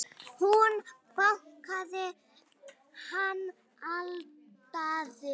Hún bakaði, hann eldaði.